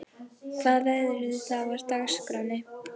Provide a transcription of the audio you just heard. Hvað verður svo á dagskránni?